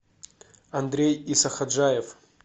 андрей исахаджаев